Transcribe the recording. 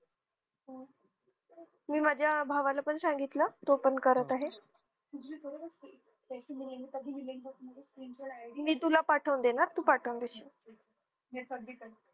मी माझ्या भावाला पण सांगितलं तो पण करत आहे मी तुला पाठवून देईन हा तू पाठवून देशील